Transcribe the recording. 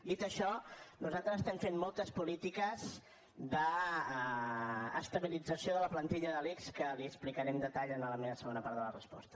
dit això nosaltres estem fent moltes polítiques d’estabilització de la plantilla de l’ics que li ho explicaré en detall en la meva segona part de la resposta